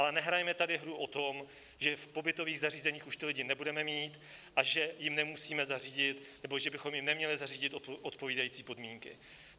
Ale nehrajme tady hru o tom, že v pobytových zařízení už ty lidi nebudeme mít a že jim nemusíme zařídit, nebo že bychom jim neměli zařídit odpovídající podmínky.